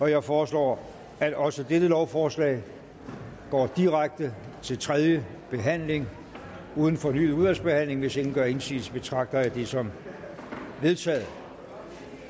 jeg foreslår at også dette lovforslag går direkte til tredje behandling uden fornyet udvalgsbehandling hvis ingen gør indsigelse betragter jeg det som vedtaget